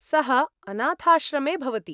सः अनाथाश्रमे भवति।